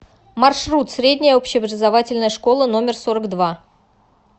маршрут средняя общеобразовательная школа номер сорок два